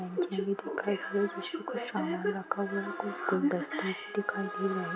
बेंच भी दिखाई दे रही उसपे कुछ समान रखा हुआ है कुछ गुलदस्ते भी दिखाई दे रहे --